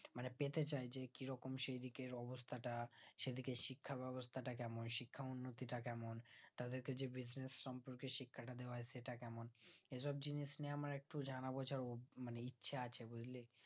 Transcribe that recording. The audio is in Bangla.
মানে পেতে চাই যে কিরকম সেই দিকের অবস্থাটা সেদিকের শিক্ষাবেবস্তা টা কেমন শিক্ষার উন্নতি টা কেমন তাদেরকে যে business সমন্দে শিক্ষাটা দেয় হচ্ছে সেটা কেমন সে সব জিনিস নিয়ে আমরা একটু জানাবো যার মানে ইচ্ছা আছে বুজলি